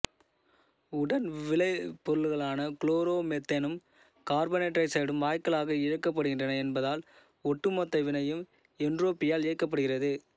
உடன் விளைபொருள்களான குளோரோமெத்தேனும் கார்பனீராக்சைடும் வாயுக்களாக இழக்கப்படுகின்றன என்பதால் ஒட்டுமொத்த வினையும் என்ட்ரோபியால் இயக்கப்படுகிறது